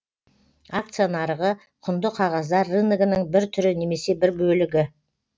акция нарығы құнды қағаздар рыногының бір түрі немесе бір бөлігі